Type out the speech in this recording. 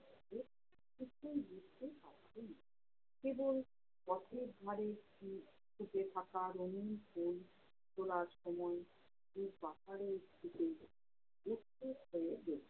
কেবল পথের ধারে ফু~ ফুটে থাকা রঙিন ফুল তোলার সময় ওই পাহাড়ের দিকে উৎসুক হয়ে দেখতো।